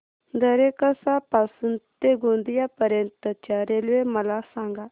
दरेकसा पासून ते गोंदिया पर्यंत च्या रेल्वे मला सांगा